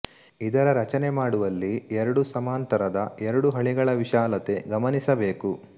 ಇದರ ರಚನೆ ಮಾಡುವಲ್ಲಿ ಎರಡು ಸಮಾಂತ ರದ ಎರಡು ಹಳಿಗಳ ವಿಶಾಲತೆ ಗಮನಿಸಬೇಕು